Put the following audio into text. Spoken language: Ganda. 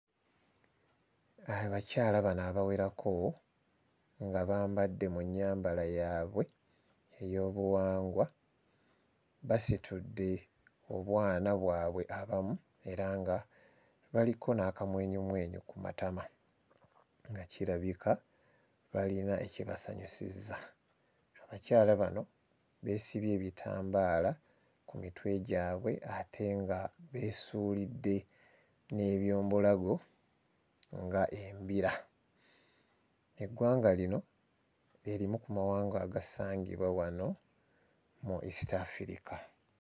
Abakyala bano abawerako nga bambadde mu nnyambala yaabwe ey'obuwangwa basitudde obwana bwabwe abamu era nga baliko n'akamwenyumwenyu ku matama nga kirabika balina ekibasanyusizza. Abakyala bano beesibye ebitambaala ku mitwe gyabwe ate nga beesuulidde n'eby'omu bulago ng'embira. Eggwanga lino lye limu ku mawanga agasangibwa wano mu East Africa.